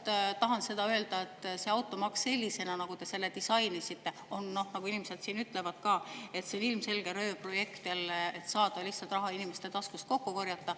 Ma tahan öelda, et see automaks sellisena, nagu te selle disainisite, on, nagu inimesed ka ütlevad, ilmselge röövprojekt, et saada lihtsalt raha inimeste taskust kokku korjata.